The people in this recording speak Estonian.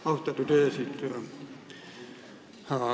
Austatud eesistuja!